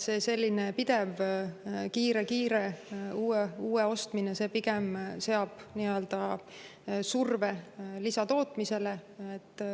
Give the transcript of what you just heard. Selline pidev, kiire uue ostmine pigem seab surve lisatootmisele.